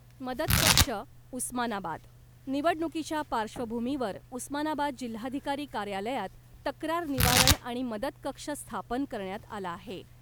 मदत कक्ष, उस्मानाबाद निवडणुकीच्या पार्श्वभूमीवर उस्मानाबाद जिल्हाधिकारी कार्यालयात तक्रार निवारण आणि मदत कक्ष स्थापन करण्यात आला आहे .